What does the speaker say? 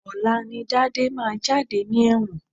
Ọ̀la ni Dádé máa jáde ní ẹ̀wọ̀n